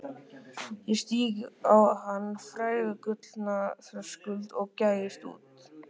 Ég stíg á hinn fræga gullna þröskuld og gægist út.